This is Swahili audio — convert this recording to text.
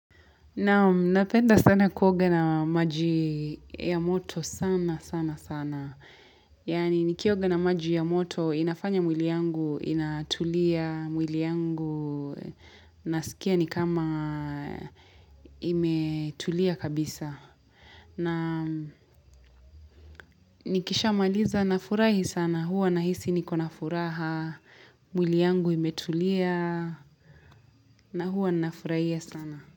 Naam napenda sana kuoga na maji ya moto sana sana sana. Yani nikioga na maji ya moto inafanya mwili yangu inatulia, mwili yangu nasikia ni kama imetulia kabisa. Na nikishamaliza nafurahi sana huwa na hisi niko na furaha, mwili yangu imetulia na huwa nafurahia sana.